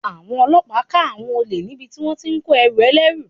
Àwọn ọlọ́pàá ká àwọn olè níbi tí wón ti ń kó ẹrù ẹlẹ́rú.